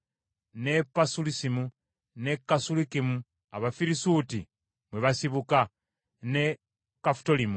ne Pasulusimu, ne Kasulukimu (Abafirisuuti mwe basibuka), ne Kafutolimu.